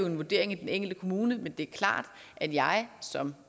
en vurdering i den enkelte kommune men det er klart at jeg som